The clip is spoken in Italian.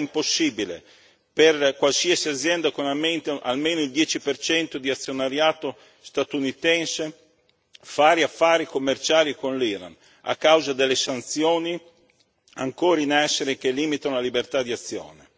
ad oggi è impossibile per qualsiasi azienda con almeno il 10 di azionariato statunitense fare affari commerciali con l'Iran, a causa delle sanzioni ancora in essere che limitano la libertà di azione.